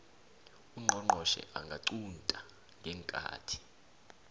ungqongqotjhe angaqunta ngeenkathi